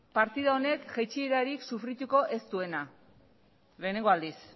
partida honek jaitsierarik sofrituko ez duena lehenengo aldiz